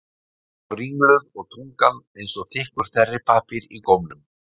Ég var ringluð og tungan var eins og þykkur þerripappír í gómnum.